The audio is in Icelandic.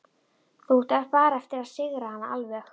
Þá áttu bara eftir að sigra hana alveg.